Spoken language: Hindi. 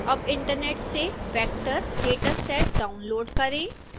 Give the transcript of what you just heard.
अब इंटरनेट से vector dataset डाउनलोड़ करें